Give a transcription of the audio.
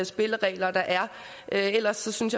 spilleregler der er ellers synes